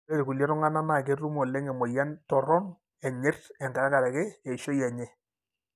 Ore ilkulie tunganak na ketum oleng emoyian toron enyirt tenkaraki eishoi enye.